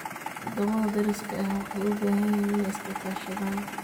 Waddamada deriska ah waxay u baahan yihiin inay iska kaashadaan.